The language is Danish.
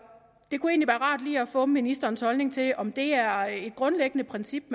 det kunne egentlig rart lige at få ministerens holdning til om det er et grundlæggende princip